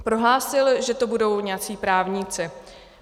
Prohlásil, že to budou nějací právníci.